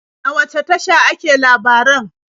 A wace tasha ake labaran?